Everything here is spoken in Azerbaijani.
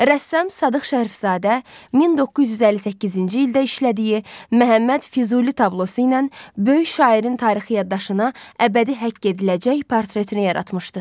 Rəssam Sadıq Şərifzadə 1958-ci ildə işlədiyi Məhəmməd Füzuli tablosu ilə böyük şairin tarixi yaddaşına əbədi həkk ediləcək portretini yaratmışdı.